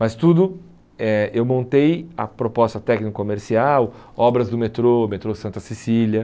Mas tudo, eh eu montei a proposta técnico-comercial, obras do metrô, metrô Santa Cecília.